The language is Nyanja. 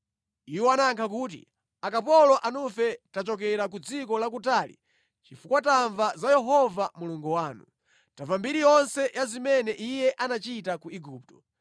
Iwo anayankha kuti, “Akapolo anufe tachokera ku dziko lakutali chifukwa tamva za Yehova Mulungu wanu. Tamva mbiri yonse ya zimene Iye anachita ku Igupto,